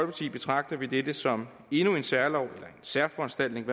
betragter vi dette som endnu en særlov en særforanstaltning